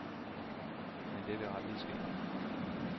Men det vil aldrig ske.